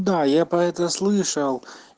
да я про это слышал